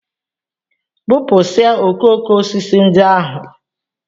Bụpụsịa okooko osisi ndị ahụ!